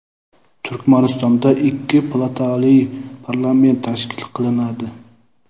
Turkmanistonda ikki palatali parlament tashkil qilinadi.